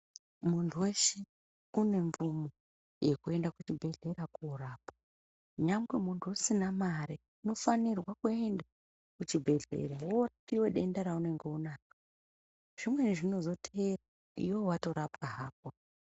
Muntu weshe une mvumo yekuende kuchibhedhlera koorapwa. Nyangwe muntu usina mare unofanirwe kuenda kuchibhedhlera woohloyiwe denda raunenge unaro zvimweni zvinozoteera iwewe watorapwa hako.